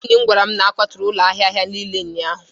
enyi m gwara m na a kwaturu ụlọ ahịa ahịa niile ụnyahụ